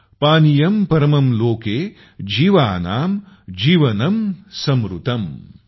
पानियम् परमम् लोके जीवानाम् जीवनम् समृतम् ।।